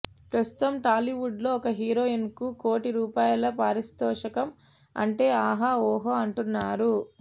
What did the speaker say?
ప్రస్తుతం టాలీవుడ్లో ఒక హీరోయిన్కు కోటి రూపాయల పారితోషికం అంటే ఆహా ఓహో అంటున్నారు